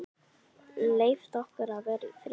Leyft okkur að vera í friði?